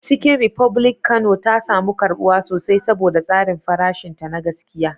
Chicken republic Kano ta samu karbuwa sosai saboda tsarin farashinta na gaskiya.